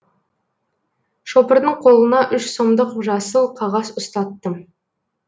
шопырдың қолына үш сомдық жасыл қағаз ұстаттым